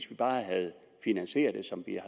bare havde finansieret det som vi